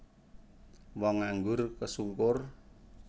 Wong nganggur kesungkur